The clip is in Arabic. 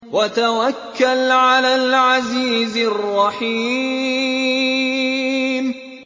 وَتَوَكَّلْ عَلَى الْعَزِيزِ الرَّحِيمِ